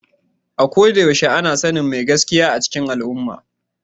A ko da yaushe ana sanin mai gaskiya a cikin al’umma.